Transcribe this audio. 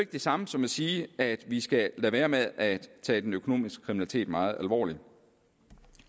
det samme som at sige at vi skal lade være med at tage den økonomiske kriminalitet meget alvorligt